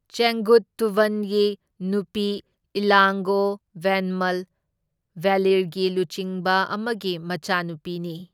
ꯆꯦꯡꯒꯨꯠꯇꯨꯚꯟꯒꯤ ꯅꯨꯄꯤ ꯏꯂꯥꯡꯒꯣ ꯚꯦꯟꯃꯜ ꯚꯦꯂꯤꯔꯒꯤ ꯂꯨꯆꯤꯡꯕ ꯑꯃꯒꯤ ꯃꯆꯥꯅꯨꯄꯤ ꯅꯤ꯫